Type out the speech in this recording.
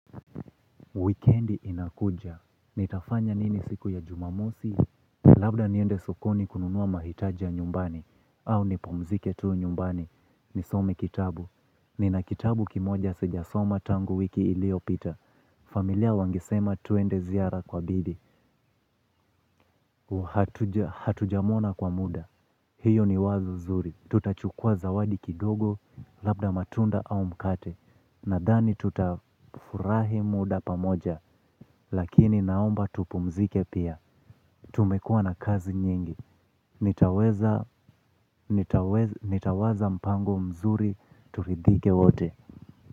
Wikendi inakuja. Nitafanya nini siku ya jumamosi. Labda niende sokoni kununua mahitaji ya nyumbani. Au nipumzike tu nyumbani. Nisome kitabu. Nina kitabu kimoja sijasoma tangu wiki iliyopita. Familia wangesema tuende ziara kwa bibi. Hatujamuona kwa muda. Hiyo ni wazo zuri. Tutachukua zawadi kidogo labda matunda au mkate. Nadhani tutafurahi muda pamoja. Lakini naomba tupumzike pia. Tumekua na kazi nyingi. Nitawaza mpango mzuri turidhike wote.